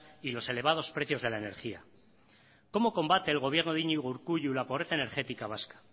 y los elevados precios de la energía cómo combate el gobierno de iñigo urkullu la pobreza energética vasca